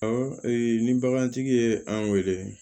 Awɔ ni bagantigi ye an wele